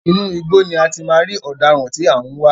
Inú igbó ni a ti máa rí ọ̀daràn tí a ń wá.